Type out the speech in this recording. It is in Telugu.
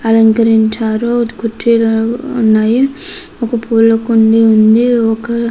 అలంకరించారు కుర్చీలు ఉన్నాయి. ఒక పూలకుండి ఉంది. ఒక --